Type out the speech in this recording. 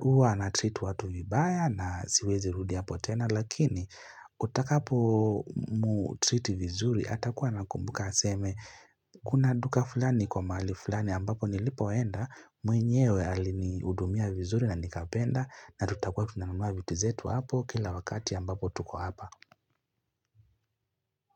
uwa anatreat watu vibaya na siweze rudi hapo tena lakini utakapo mtreat vizuri atakuwa nakumbuka aseme kuna duka fulani iko mahali fulani ambapo nilipoenda mwenyewe aliniudumia vizuri na nikapenda natutakuwa tunanumua vituzetu hapo kila wakati ambapo tuko hapa.